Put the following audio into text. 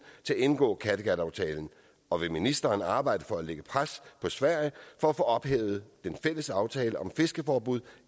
til at indgå kattegataftalen og vil ministeren arbejde for at lægge pres på sverige for at få ophævet den fælles aftale om fiskeforbud